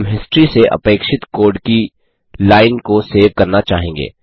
हम हिस्ट्री से अपेक्षित कोड की लाइन को सेव करना चाहेंगे